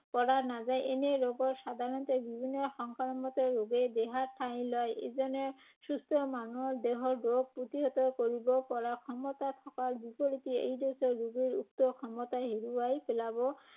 পৰা নাযায়৷ এনে ৰোগৰ সাধাৰণতে বিভিন্ন সংক্ৰামকে ৰোগে দেহত ঠাই লয়। এজন সুস্থ মানুহৰ দেহত ৰোগ প্ৰতিহত কৰিব পৰা ক্ষমতা থকাৰ বিপৰীতে এইড্‌ছ ৰোগীৰ উক্ত ক্ষমতা হেৰুৱাই পেলাব